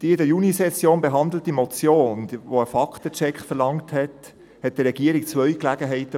Die in der Junisession behandelte Motion, die einen Faktencheck verlangte gab der Regierung zwei Möglichkeiten: